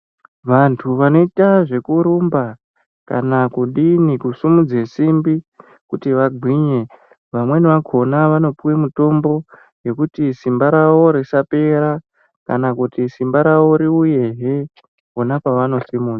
Vantu vanoita zvekurumba kana kudini kusimudze simbi kuti vagwinye vamweni vakona vanopuwe mutombo yekuti simba rawo risapera kana kuti simba rawo riuyehe pona pavanosimudza.